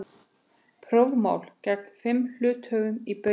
Prófmál gegn fimm hluthöfum í Baugi